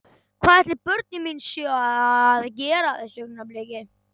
Hvað ætli börnin mín séu að gera á þessu augnabliki?